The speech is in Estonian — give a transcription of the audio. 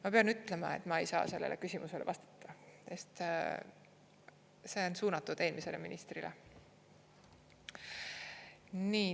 " Ma pean ütlema, et ma ei saa sellele küsimusele vastata, sest see on suunatud eelmisele ministrile.